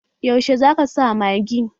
Yaushe zaka sa magi?